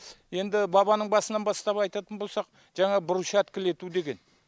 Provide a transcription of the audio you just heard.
енді бабаның басынан бастап айтатын болсақ жаңағы брушаткілету деген